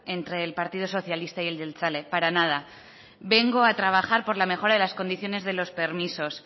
entre el partido socialista y el jeltzale para nada vengo a trabajar por la mejora de las condiciones de los permisos